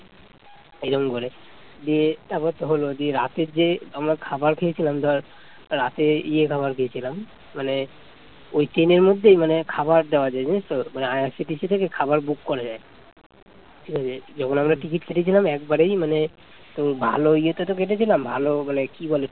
ওই ট্রেনের মধ্যে খাবার দেয়া যায় জানিস তো মানে IRCTC থেকে খাবার বুক করা যায় ঠিক আছে যখন আমরা টিকিট কেটেছিলাম একেবারেই মানে তো ভালো ইয়ে তে তো কেটেছিলাম ভালো মানে কি বলে